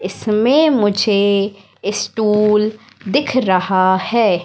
इसमें मुझे ये स्टूल दिख रहा हैं।